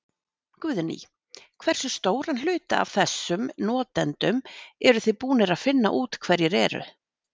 Guðný: Hversu stóran hluta af þessum notendum eruð þið búnir að finna út hverjir eru?